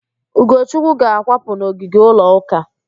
Ugochukwu ga-akwapụ n'ogige ụlọ ụka